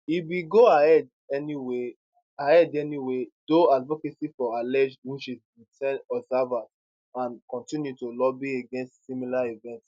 e bin go ahead anyway ahead anyway though advocacy for alleged witches bin sen observers and continue to lobby against similar events